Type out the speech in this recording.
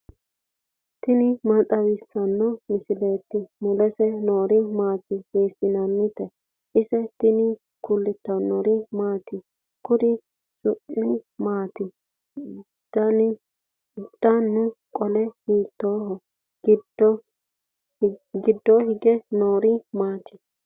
tini maa xawissanno misileeti ? mulese noori maati ? hiissinannite ise ? tini kultannori maati? Kuri su'mi maatti? Danna qole hiittoreti? Giddonni hige noori maatti?